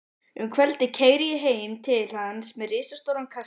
Um kvöldið keyri ég heim til hans með risastóran kassa.